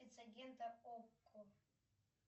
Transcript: спецагента окко